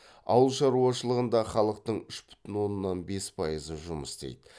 ауылшаруашылығында халықтың үш бүтін оннан бес пайызы жұмыс істейді